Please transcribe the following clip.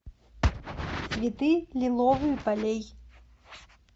цветы лиловые полей